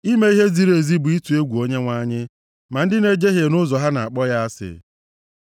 Ime ihe ziri ezi bụ ịtụ egwu Onyenwe anyị; ma ndị na-ejehie nʼụzọ ha na-akpọ ya asị.